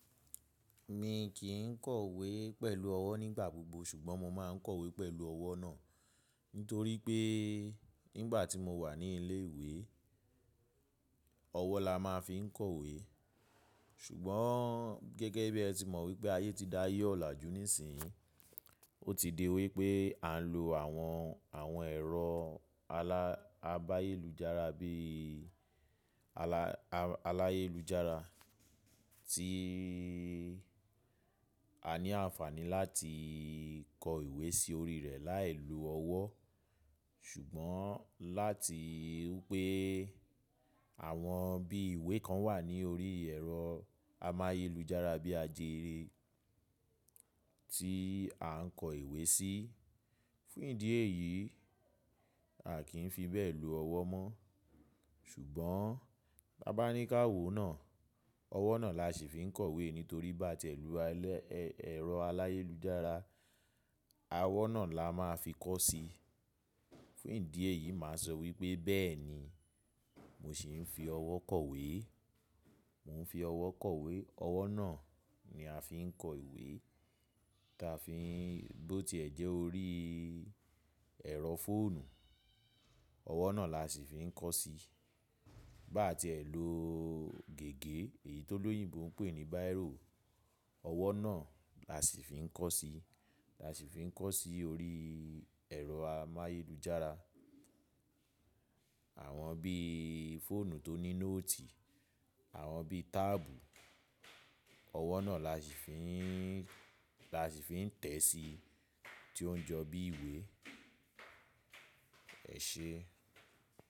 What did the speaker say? Mi kì í kọ̀wé pẹ̀lú ọwọ́ nígbà gbogbo ṣùgbọ́n mo máa ń kọ̀wé pẹ̀lú ọwọ́ náà. Nítorí pé nígbà tí mo wà ní ilé ìwé, ọwọ́ la máa ń fi kọ̀wé. Ṣùgbọ́n gẹ́gẹ́ bí ẹ ti mọ̀ wí pé ayé ti da ayé ọ́ làjú nísìyí, ó ti di wí pé à ń lo àwọn, àwọn ẹ̀rọ abáyéjára bí aláyélujára tí a ní àǹfààní láti kọ ìwé sí orí rẹ̀ láìlo ọwọ́. Ṣùgbọ́n láti wípé àwọn bí ìwé kan wà ní orí ẹ̀rọ amáyélujára bí ajere tí à ń kọ ìwé sí, fún ìdí èyí a kì í fi bẹ́ẹ̀ lo ọwọ́ mọ́. Ṣùgbọ́n tá bá ní ká wò ó náà, ọwọ́ náà la ṣì fi ń kọ̀wé nítorí bá tiẹ̀ lo ẹ̀rọ aláyélujára, ọwọ́ náà la máa fi kọ́ sí. Fún ìdí èyí màá sọ wí pé bẹ́ẹ̀ ni mo ṣì ń fi ọwọ́ kọ̀wé. Mo ń fi ọwọ́ kọ̀wé, ọwọ́ náà ni a fi ń kọ ìwé. Tá fi, bó tiẹ̀ jẹ́ orí ẹ̀rọ fóònù, ọwọ́ náà la ṣì fi ń kọ́ ọ́ sí. Ba tiẹ̀ lo gègé èyí tó lóyìnbòn ń pè ní bírò, ọwọ́ náà la ṣì fi ń kọ́ ọ́ sí. La ṣì fi ń kọ́ sí orí ẹ̀rọ amáyélujára. Àwọn bí fóònù tó ní nóòtì, àwọn bí táàbù, ọwọ́ náà la ṣì fi ń, la ṣì fi ń tẹ̀ ẹ́ sí tí ó ń jọ bí ìwé. Ẹ ṣe.